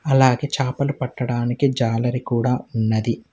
అలాగే చేపలు పట్టడానికి జాలరి కూడా ఉన్నది.